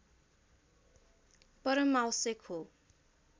परमावश्यक हो